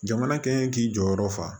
Jamana kɛ k'i jɔyɔrɔ fa